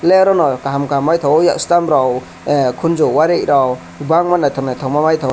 lerono kaham kaham maitango yastem rog ah konjo wari rok kobangma naitok naitok maitango.